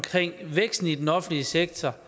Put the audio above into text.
væksten i den offentlige sektor